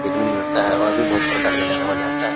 हिरन मिलता है और भी बहुत प्रकार के जानवर रहता है।